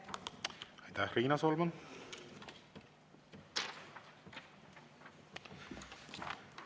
Aitäh, Riina Solman!